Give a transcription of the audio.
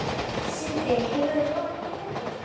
Sindri, hefur þú prófað nýja leikinn?